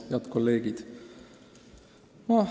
Head kolleegid!